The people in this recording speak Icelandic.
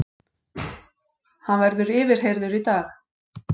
Hann verður yfirheyrður í dag